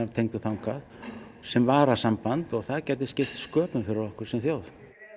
tengdur þangað sem varasamband og það gæti skipt sköpum fyrir okkur sem þjóð